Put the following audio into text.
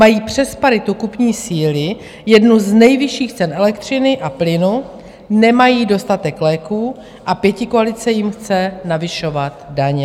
Mají přes paritu kupní síly jednu z nejvyšších cen elektřiny a plynu, nemají dostatek léků a pětikoalice jim chce navyšovat daně.